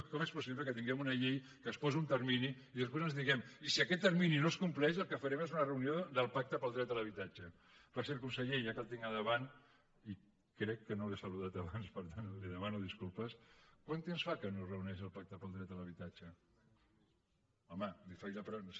com és possible que tinguem una llei que es posa un termini i després ens diguem i si aquest termini no es compleix el que farem serà una reunió del pacte pel dret a l’habitatge per cert conseller ja que el tinc a davant i crec que no l’he saludat abans per tant li’n demano disculpes quant temps fa que no es reuneix el pacte per al dret a l’habitatge home li faig la